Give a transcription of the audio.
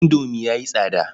Indomi ya yi tsada.